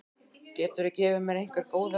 Geturðu gefið mér einhver góð ráð?